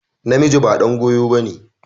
Namiji ba ɗan goyo ba ne.